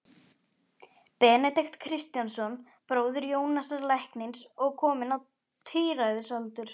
Benedikt Kristjánsson, bróðir Jónasar læknis og kominn á tíræðisaldur.